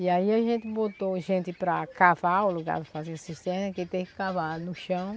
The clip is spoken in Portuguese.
E aí a gente botou gente para cavar o lugar para fazer cisterna, que tem que cavar no chão.